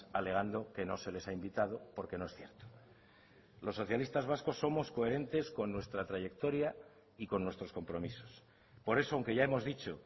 alegando que no se les ha invitado porque no es cierto los socialistas vascos somos coherentes con nuestra trayectoria y con nuestros compromisos por eso aunque ya hemos dicho